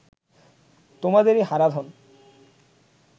তোমাদেরি Haradhan